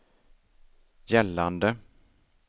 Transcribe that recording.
gällande